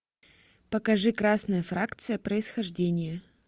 покажи красная фракция происхождение